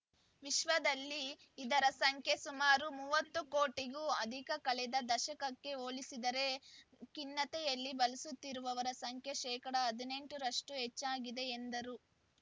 ವಿಶ್ವದಲ್ಲಿ ಇದರ ಸಂಖ್ಯೆ ಸುಮಾರು ಮೂವತ್ತು ಕೋಟಿಗೂ ಅಧಿಕ ಕಳೆದ ದಶಕಕ್ಕೆ ಹೋಲಿಸಿದರೆ ಖಿನ್ನತೆಯಿಂದ ಬಳಲುತ್ತಿರುವವರ ಸಂಖ್ಯೆ ಶೇಕಡಾ ಹದಿನೆಂಟ ರಷ್ಟುಹೆಚ್ಚಾಗಿದೆ ಎಂದರು